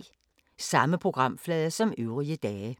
Samme programflade som øvrige dage